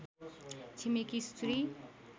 छिमेकी स्त्री